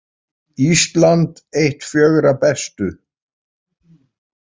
Ísland eitt fjögurra bestu